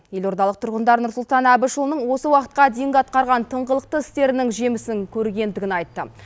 елордалық тұрғындар нұрсұлтан әбішұлының осы уақытқа дейін атқарған тыңғылықты істерінің жемісін көргендігін айтты